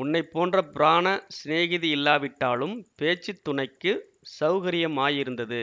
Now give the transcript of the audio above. உன்னை போன்ற பிராண சிநேகிதியில்லாவிட்டாலும் பேச்சு துணைக்குச் சௌகரியமாயிருந்தது